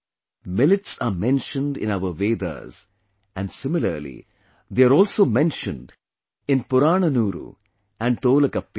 Millets are mentioned in our Vedas, and similarly, they are also mentioned in Purananuru and Tolkappiyam